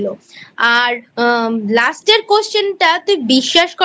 আর Last এর Question টাতুই বিশ্বাস কর